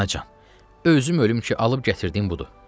Anacan, özüm ölüm ki, alıb gətirdiyim budur.